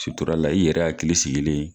Suturala i yɛrɛ hakili sigilen